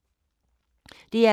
DR K